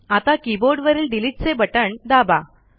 आता की बोर्डवरील डिलिटचे बटण दाबा